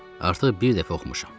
Artıq bir dəfə oxumuşam.